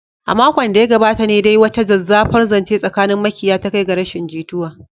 A makon da ya gabata ne dai wata zazzafar zance tsakanin makiya ta kai ga rashin jituwa.